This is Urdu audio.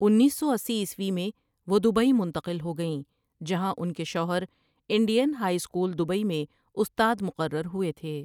انیس سو اسی عیسوی میں وہ دبئی منتقل ہو گئیں جہاں ان کے شوہر انڈین ہائی اسکول دبئی میں استاد مقرر ہوئے تھے ۔